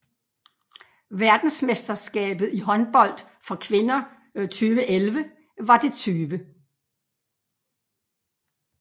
Verdensmesterskabet i håndbold for kvinder 2011 var det 20